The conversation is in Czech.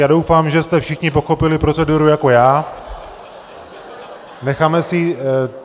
Já doufám, že jste všichni pochopili proceduru jako já.